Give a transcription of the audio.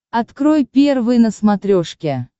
открой первый на смотрешке